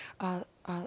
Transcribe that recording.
að